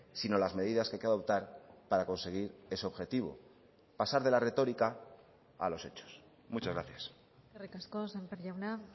sino las medidas que hay que adoptar para conseguir ese objetivo pasar de la retórica a los hechos muchas gracias eskerrik asko sémper jauna